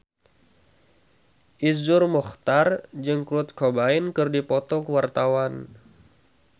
Iszur Muchtar jeung Kurt Cobain keur dipoto ku wartawan